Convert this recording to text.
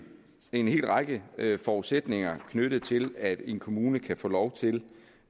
en hel række forudsætninger knyttet til at en kommune kan få lov til